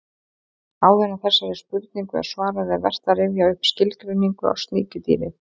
Áður en þessari spurningu er svarað er vert að rifja upp skilgreiningu á sníkjudýri.